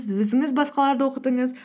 өзіңіз басқаларды оқытыңыз